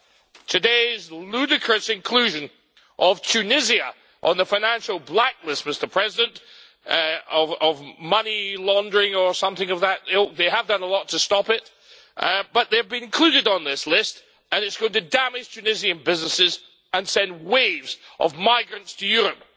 As for today's ludicrous inclusion of Tunisia on the financial blacklist, Mr President, for money laundering or something of that ilk they have done a lot to stop it but they have been included on this list and it is going to damage Tunisian businesses and send waves of migrants to Europe.